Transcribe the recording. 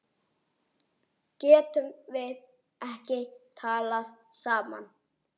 Getum við ekki talað saman?